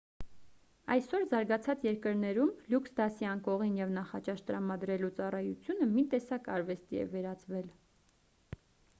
այսօր զարգացած երկրներում լյուքս դասի անկողին և նախաճաշ տրամադրելու ծառայությունը մի տեսակ արվեստի է վերածվել